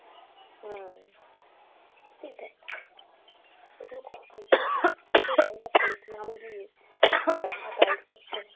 হুম, সেটাই, ওগুলো দিয়ে তাই করতো।